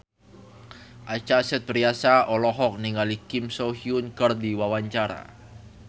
Acha Septriasa olohok ningali Kim So Hyun keur diwawancara